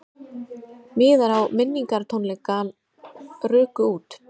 Miðar á minningartónleika ruku út